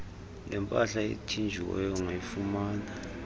lempahla ethinjiweyo ungayifumana